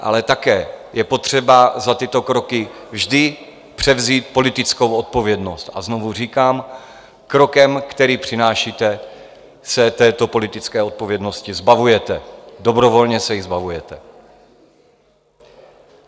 Ale také je potřeba za tyto kroky vždy převzít politickou odpovědnost, a znovu říkám krokem, který přinášíte, se této politické odpovědnosti zbavujete, dobrovolně se jí zbavujete.